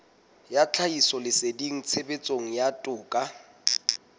ya tlhahisoleseding tshebetsong ya toka